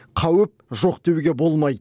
қауіп жоқ деуге болмайды